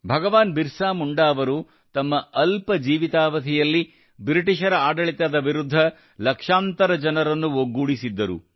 ಭಗವಾನ್ ಬಿರ್ಸಾ ಮುಂಡಾ ಅವರು ತಮ್ಮ ಅಲ್ಪ ಜೀವಿತಾವಧಿಯಲ್ಲಿ ಬ್ರಿಟಿಷರ ಆಡಳಿತದ ವಿರುದ್ಧ ಲಕ್ಷಾಂತರ ಜನರನ್ನು ಒಗ್ಗೂಡಿಸಿದ್ದರು